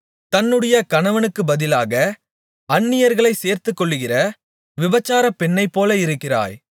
தன்னுடைய கணவனுக்குப்பதிலாக அந்நியர்களைச் சேர்த்துக்கொள்ளுகிற விபசார பெண்ணைப்போல இருக்கிறாய்